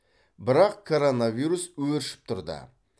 бірақ коронавирус өршіп тұрды